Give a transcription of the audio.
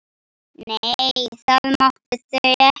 Nei, það máttu þau ekki.